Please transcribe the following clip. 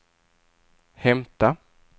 hämta